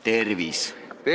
Tervis!